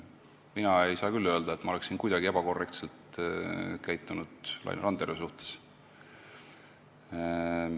Mina ei saa küll öelda, et ma oleksin Laine Randjärve suhtes kuidagi ebakorrektselt käitunud.